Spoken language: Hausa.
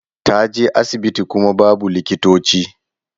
Ta je asibiti kuma babu likitoci.